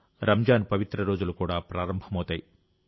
రంజాన్ పవిత్ర రోజులు కూడా ప్రారంభమవుతాయి